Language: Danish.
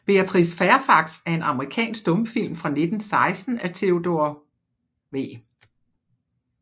Beatrice Fairfax er en amerikansk stumfilm fra 1916 af Theodore W